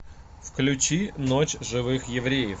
включи ночь живых евреев